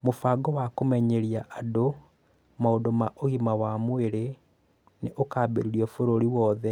Mũbango wa kũmenyeria andũ maũndũ ma ũgima wa mwĩrĩ nĩ ũkũambĩrĩrio bũrũri wothe